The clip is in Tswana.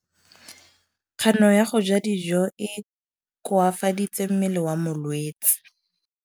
Kganô ya go ja dijo e koafaditse mmele wa molwetse.